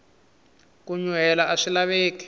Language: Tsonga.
ku nyuhela aswi laveki